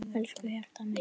Elsku hjartað mitt.